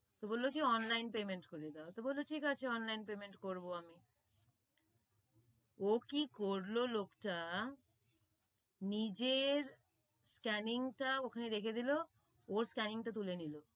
তো বললো যে online payment করে দোও, তো বললো ঠিক আছে, online payment করবো আমি, ও কি করলো লোকটা, নিজের scanning টা ওখানে রেখে দিলো, ওর scanning টা তুলে নিলো,